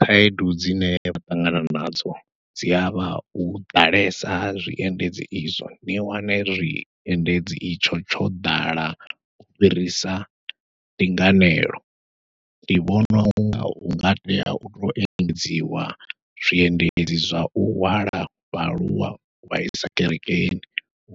Khaedu dzine vha ṱangana nadzo dzi avha u ḓalesa ha zwiendedzi izwo, ni wane zwiendedzi itsho tsho ḓala u fhirisa ndinganelo. Ndi vhona unga hunga tea utou engedziwa zwiendedzi zwa u hwala vhaaluwa u vhaisa kerekeni,